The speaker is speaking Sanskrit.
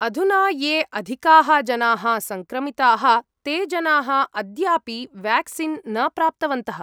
अधुना ये अधिकाः जनाः सङ्क्रमिताः ते जनाः अद्यापि वेक्सीन् न प्राप्तवन्तः।